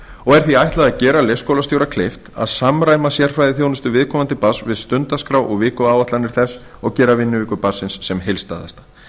og er því ætlað gera leikskólastjóra kleift að samræma sérfræðiþjónustu viðkomandi barns við stundaskrá og vikuáætlanir þess og gera vinnuviku barnsins sem heildstæðasta